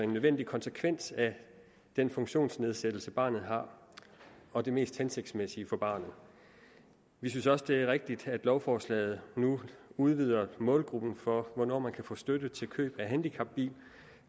nødvendig konsekvens af den funktionsnedsættelse barnet har og det mest hensigtsmæssige for barnet vi synes også det er rigtigt at lovforslaget nu udvider målgruppen for hvornår man kan få støtte til køb af handicapbil